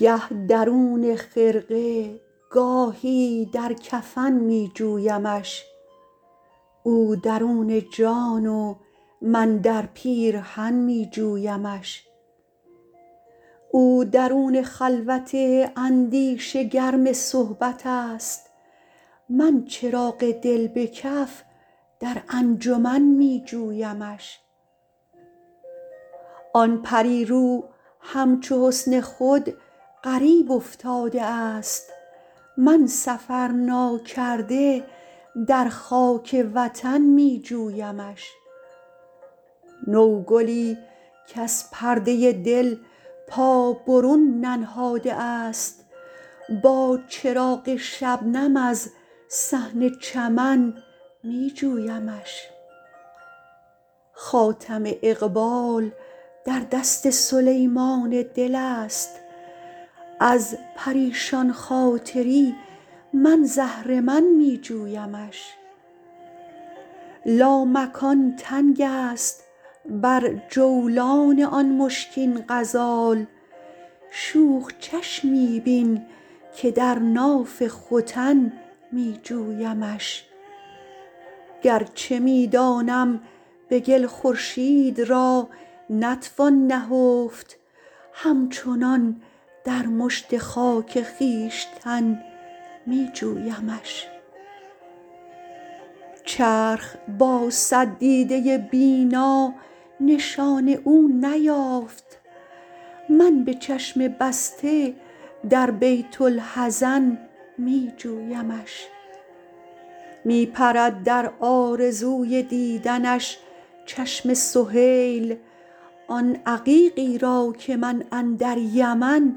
گه درون خرقه گاهی درکفن می جویمش او درون جان و من در پیرهن می جویمش او درون خلوت اندیشه گرم صحبت است من چراغ دل به کف در انجمن می جویمش آن پری رو همچو حسن خود غریب افتاده است من سفر ناکرده در خاک وطن می جویمش نو گلی کز پرده دل پا برون ننهاده است با چراغ شبنم از صحن چمن می جویمش خاتم اقبال در دست سلیمان دل است از پریشان خاطری من ز اهرمن می جویمش لامکان تنگ است بر جولان آن مشکین غزال شوخ چشمی بین که در ناف ختن می جویمش گرچه می دانم به گل خورشید را نتوان نهفت همچنان در مشت خاک خویشتن می جویمش چرخ با صد دیده بینا نشان او نیافت من به چشم بسته دربیت الحزن می جویمش می پرد در آرزوی دیدنش چشم سهیل آن عقیقی را که من اندر یمن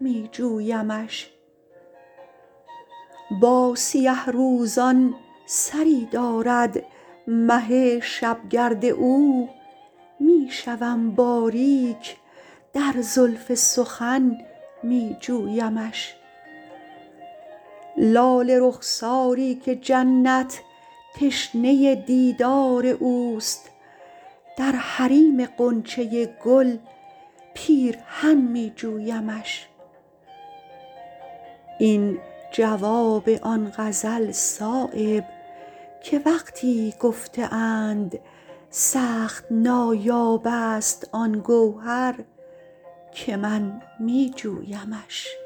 می جویمش با سیه روزان سری دارد مه شبگرد او می شوم باریک در زلف سخن می جویمش لاله رخساری که جنت تشنه دیدار اوست درحریم غنچه گل پیرهن می جویمش این جواب آن غزل صایب که وقتی گفته اند سخت نایاب است آن گوهر که من می جویمش